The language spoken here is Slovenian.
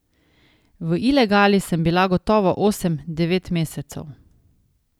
V ilegali sem bila gotovo osem, devet mesecev.